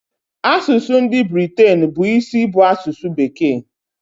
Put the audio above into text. Asụsụ ndị Britain bụ isi bụ asụsụ bekee.